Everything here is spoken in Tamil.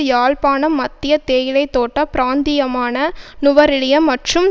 யாழ்ப்பாணம் மத்திய தேயிலை தோட்ட பிராந்தியமான நுவரெலிய மற்றும்